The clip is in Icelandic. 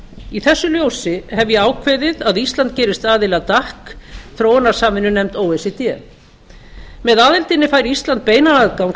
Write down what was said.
í þessu ljósi hef ég ákveðið að ísland gerist aðili að dac þróunarsamvinnunefnd o e c d með aðildinni fær ísland beinan aðgang að